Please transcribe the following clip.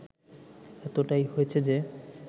এতটাই হয়েছে যে